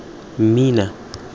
mmina